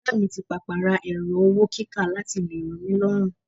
Oga mi ti papa ra ẹrọ-owó-kíkà láti lè ro mí lọ́run.